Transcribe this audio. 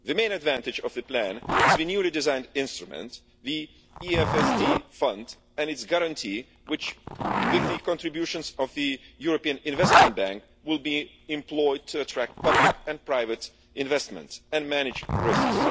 The main advantage of the plan is the newly designed instrument, the European Fund for Sustainable Development Fund, and its Guarantee which, with the contributions of the European Investment Bank, will be employed to attract public and private investment and manage risks.